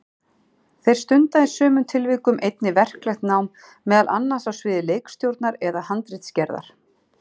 Þeir stunda í sumum tilvikum einnig verklegt nám, meðal annars á sviði leikstjórnar eða handritsgerðar.